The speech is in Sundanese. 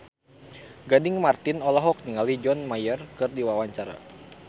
Gading Marten olohok ningali John Mayer keur diwawancara